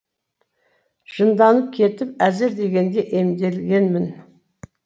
жынданып кетіп әзер дегенде емделгенмін